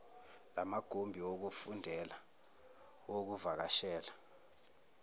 lamagumbi wokufundela lokuvakashela